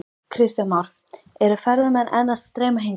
Kristján Már: Eru ferðamenn enn að streyma hingað?